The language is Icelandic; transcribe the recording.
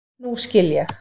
Nú skil ég.